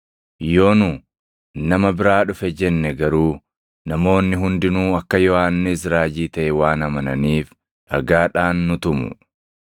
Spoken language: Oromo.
Yoo nu, ‘Nama biraa dhufe’ jenne garuu namoonni hundinuu akka Yohannis raajii taʼe waan amananiif dhagaadhaan nu tumu.”